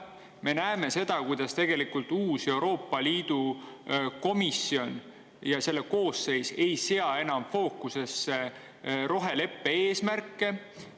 Me näeme ka seda, kuidas uus koosseis ei sea enam roheleppe eesmärke enda fookusesse.